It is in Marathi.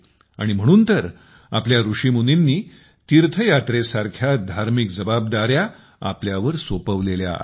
आणि म्हणून तर आपल्या ऋषीमुनींनी तीर्थयात्रेसारख्या धार्मिक जबाबदाऱ्या आपल्यावर सोपविलेल्या आहेत